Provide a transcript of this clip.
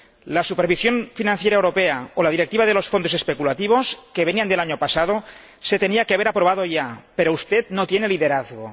La supervisión financiera europea o la Directiva sobre los fondos especulativos, que venían del año pasado, se tenían que haber aprobado ya, pero usted no tiene liderazgo.